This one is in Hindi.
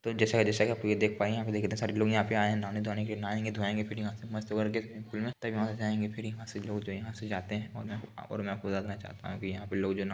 तो जैसा-जैसा की आपलोग देख पाए यहां पे देखिए इतने सारे लोग आए हैं नहाने धोआने के लिए। नहाएंगे धुआएंगे फिर यहां से मस्त होकर स्विमिग पूल वहाँ से जायेगे फिर यहां से लोग यहां से जो जाते हैं और मैं आपको बात देना चाहता हूँ यहाँ पे लोग जो न --